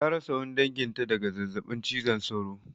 Ta rasa wani danginta daga zazzabin cizon sauro.